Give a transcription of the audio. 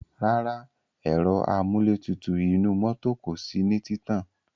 Rárá, ẹ̀ro amúlétutù inú mọ́tò kò sí ní títàn.